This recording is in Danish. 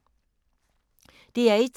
DR1